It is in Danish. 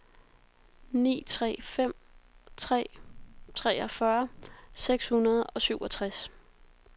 ni tre fem tre treogfyrre seks hundrede og syvogtres